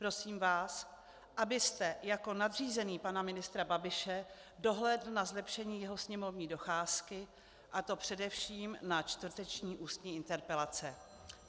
Prosím vás, abyste jako nadřízený pana ministra Babiše dohlédl na zlepšení jeho sněmovní docházky, a to především na čtvrteční ústní interpelace.